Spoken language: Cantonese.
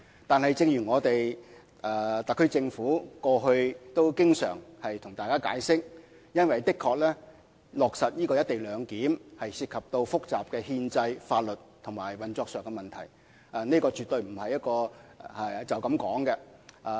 但是，正如特區政府過去也經常向大家解釋，落實"一地兩檢"的確涉及複雜的憲制、法律及運作上的問題，這絕對不是簡單說說便可解決的。